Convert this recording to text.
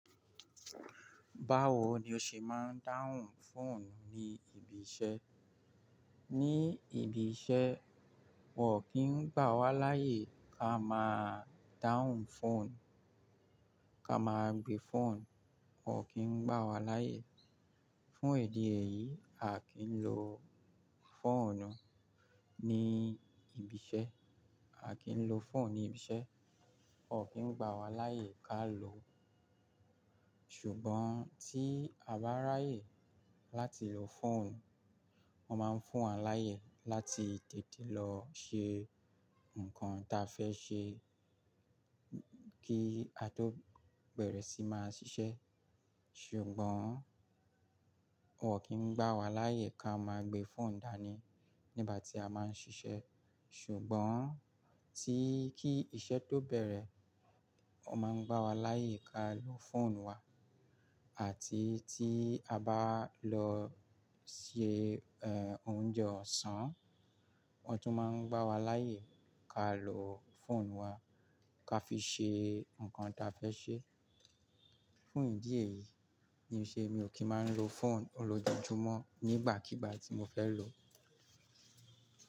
Báwo ni o ṣe máa ń dáhùn fóònù ní ibi iṣẹ́? Ní ibi iṣẹ́, wọ́n ò kí ń gbà wá láàyè ká máa dáhùn fóònù, ká máa gbé fóònù, wọ́n ò kí ń gbà wá láàyè. Fún ìdí èyí, a kì í lọ fóònù ní ibi iṣẹ́. A kì í lọ fóònù ní ibi iṣẹ́, wọ́n ò kí ń gbà wá láàyè ká lò ó. Ṣùgbọ́n tí a bá ráyè láti lo fóònù, wọ́n máa ń fún wa láàyè láti tètè lọ ṣe nǹkan ta fẹ́ ṣe kí a tó bẹ̀rẹ̀ sí máa ṣiṣẹ́. Ṣùgbọ́n wọ́n ò kí ń gbà wá láàyè ká máa gbé fóònù dání nígbà tí a máa ń ṣiṣẹ́. Ṣùgbọ́n tí kí iṣẹ́ tó bẹ̀rẹ̀, wọ́n máa ń gbà wá láàyè ká lo fóònù wa. Àti tí a bá lọ se, ẹ́, oúnjẹ ọ̀sán, wọ́n tún máa ń gbà wá láàyè ká lo fóònù wa ká fi ṣe nǹkan ta fẹ́ ṣe. Fún ìdí èyí ni ó ṣe mi ò kí máa ń lo fóònù olójoojumọ́ nígbàkígbà tí mo fẹ́ lò ó.